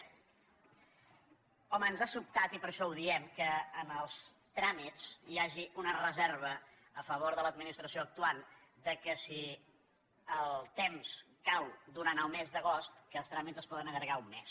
home ens ha sobtat i per això ho diem que en els tràmits hi hagi una reserva a favor de l’administració actuant que si el temps cau durant el mes d’agost els tràmits es poden allargar un mes